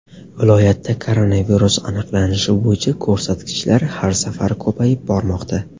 Viloyatda koronavirus aniqlanishi bo‘yicha ko‘rsatkichlar har safar ko‘payib bormoqda.